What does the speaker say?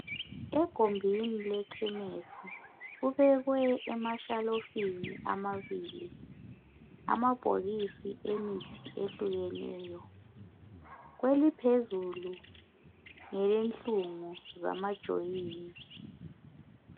egumbini lekhemesi kubekwe emashelufini amabili amabhokisi emithi ehlukeneyo kweliphezulu ngelenhlungu zama joint